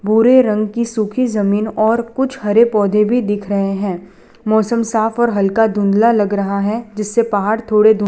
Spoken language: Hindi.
भूरे रंग कि सुखी जमीन और कुछ हरे पौधे भी दिख रहे हैं मौसम साफ और हलका धुंधला लग रहा है जिससे पहाड़ थोड़े धुन --